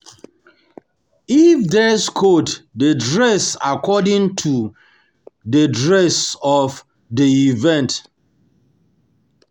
If dress code de dress according to to di dress of di event